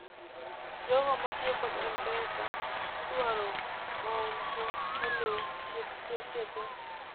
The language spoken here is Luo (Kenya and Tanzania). jogo matiyo kod m-pesa idwaro maonfo ulu chik sache te